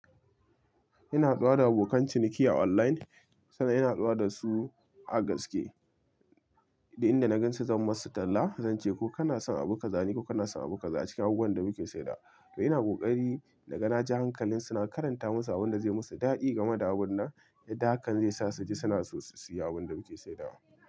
Ina haduwa da abokan ciniki a online, sannan ina haduwa da su a gaske. Duk inda na gan su zan masu talla, zance ko kana son abu kaza ko kana son abu kaza ne cikin abubuwan da muke saida. To ina kokari da naga na ja hankalin suna karanta musu abun da zai musu daɗi game da abun nan, yadda hakan zai sa su ji suna so su siya abun da muke saida.